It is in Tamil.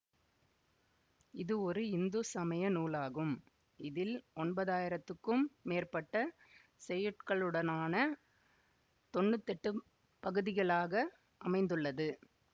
இது ஒரு இந்து சமய நூலாகும் இதில் ஒன்பதாயிரத்துக்கும் மேற்பட்ட செய்யுட்களுடனான தொன்னூதெட்டு பகுதிகளாக அமைந்துள்ளது